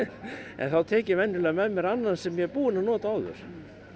en þá tek ég venjulega með mér annan sem ég er búinn að nota áður